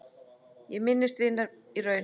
Ég minnist vinar í raun.